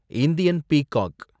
Indian peacock